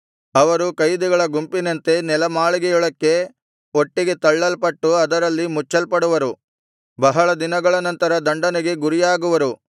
ಅವರು ಕೈದಿಗಳ ಗುಂಪಿನಂತೆ ನೆಲಮಾಳಿಗೆಯೊಳಕ್ಕೆ ಒಟ್ಟಿಗೆ ತಳ್ಳಲ್ಪಟ್ಟು ಅದರಲ್ಲಿ ಮುಚ್ಚಲ್ಪಡುವರು ಬಹಳ ದಿನಗಳ ನಂತರ ದಂಡನೆಗೆ ಗುರಿಯಾಗುವರು